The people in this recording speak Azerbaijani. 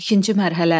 İkinci mərhələ.